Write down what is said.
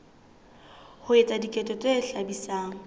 ho etsa diketso tse hlabisang